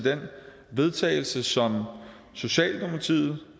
vedtagelse som socialdemokratiet